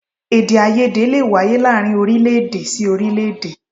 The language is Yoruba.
Èdèàìyedè lè wáyé láàárín orílé-èdè sí orílé-èdè